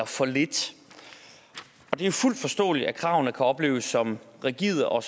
for lidt det er fuldt forståeligt at kravene kan opleves som rigide og